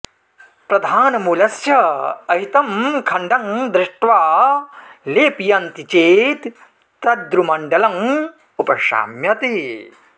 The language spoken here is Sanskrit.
प्रधानमूलस्य अहितम् खण्डं धृष्ट्वा लेपयन्ति चेत् दद्रुमण्डलं उपशाम्यति